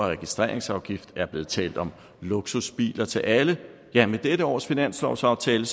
registreringsafgift er blevet talt om luksusbiler til alle ja med dette års finanslovsaftale